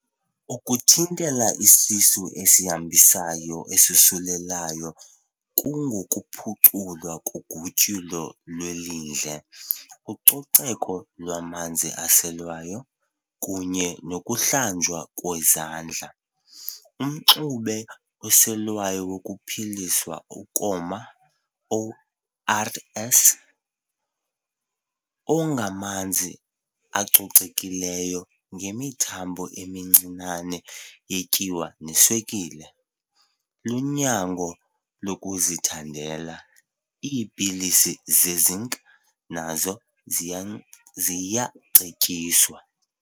Ukuthintela isisu esihambisayo esosulelayo kungokuphuculwa kogutyulo lwelindle, ucoceko lwamanzi aselwayo, kunye nokuhlanjwa kwezandla. Umxube oselwayo wokuphelisa ukoma, ORS, ongamanzi acocekileyo ngemithamo emincinane yetyiwa neswekile, lunyango lokuzithandela. iipilisi ze-Zinc nazo ziya ziyacetyiswa.